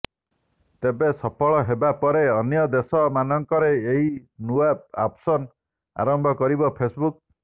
ତେବେ ସଫଳ ହେବା ପରେ ଅନ୍ୟ ଦେଶ ମାନଙ୍କରେ ଏହି ନୂଆ ଅପସନ୍ ଆରମ୍ଭ କରିବ ଫେସବୁକ୍